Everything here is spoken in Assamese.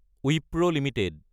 ৱিপ্ৰ এলটিডি